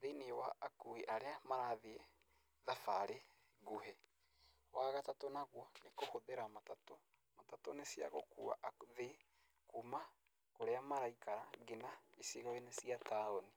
thĩinĩ wa akuii arĩa marathiĩ thabarĩ nguhĩ. Wagatatũ naguo nĩ kũhũthĩra matatũ, matatũ nĩciagũkua athii kuma kũrĩa maraikara nginya gĩcigoinĩ cĩa taũni.